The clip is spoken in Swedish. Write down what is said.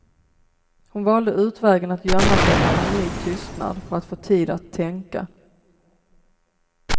Hon valde utvägen att gömma sig bakom ny tystnad för att få tid att tänka.